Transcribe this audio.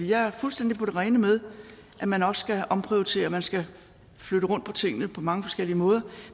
jeg er fuldstændig på det rene med at man også skal omprioritere man skal flytte rundt på tingene på mange forskellige måder